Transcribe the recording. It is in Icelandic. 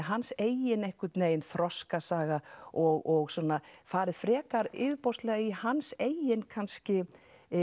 hans eigin einhvern veginn þroskasaga og svona farið frekar yfirborðslega í hans eigin kannski